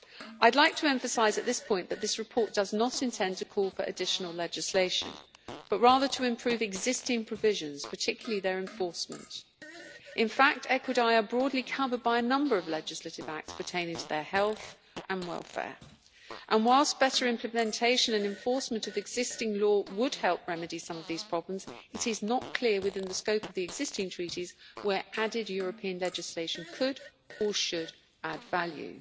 I would like to emphasise at this point that this report does not intend to call for additional legislation but rather to improve existing provisions, particularly their enforcement. In fact, equidae are broadly covered by a number of legislative acts pertaining to their health and welfare, and whilst better implementation and enforcement of existing law would help remedy some of these problems, it is not clear within the scope of the existing treaties where added European legislation could, or should, add value.